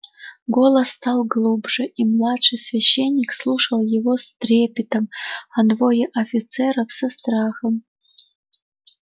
голос стал глубже и младший священник слушал его с трепетом а двое офицеров со страхом